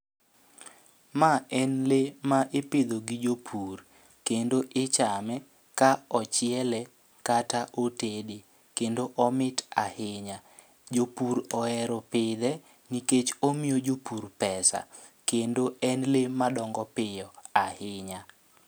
Ma en lee ma ipidho gi jopur, kendo ichame ka ochiele kata otede. kendo omit ahinya, jopur ohero pidhe nikech omiyo jopur pesa kendo en lee madongo piyo ahinya.